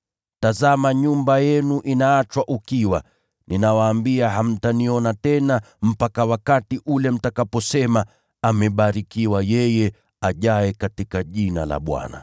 Tazama nyumba yenu imeachwa ukiwa. Ninawaambia, hamtaniona tena mpaka wakati ule mtakaposema, ‘Amebarikiwa yeye ajaye kwa jina la Bwana.’ ”